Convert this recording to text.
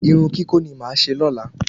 Irun kíkó ni máa ṣe lóla